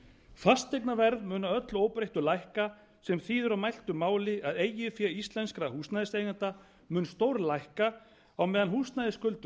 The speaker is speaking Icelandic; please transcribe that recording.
fasteignaverð að öllum óbreyttu lækka sem þýðir á mæltu máli að eigið fé íslenskra húsnæðiseigenda mun stór lækka á meðan húsnæðisskuldir